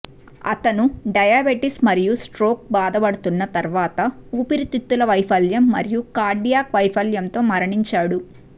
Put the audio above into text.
అతను డయాబెటిస్ మరియు స్ట్రోక్ బాధపడుతున్న తర్వాత ఊపిరితిత్తుల వైఫల్యం మరియు కార్డియాక్ వైఫల్యంతో మరణించాడు